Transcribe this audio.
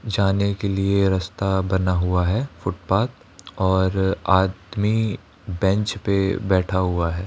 जाने के लिए रास्ता बना हुआ है फुटपाथ और आदमी बेंच पे बैठा हुआ है।